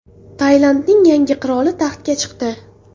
Tailandning yangi qiroli taxtga chiqdi.